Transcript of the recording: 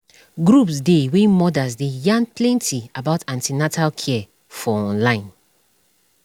groups dey wey mothers dey yarn plenty about an ten atal care for online